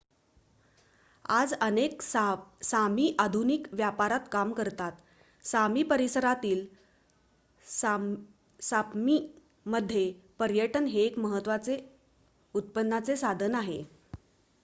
आज अनेक सामी आधुनिक व्यापारात काम करतात सामी परिसरातील सप्मीमध्ये पर्यटन हे एक महत्त्वाचे उत्पन्नाचे साधन आहे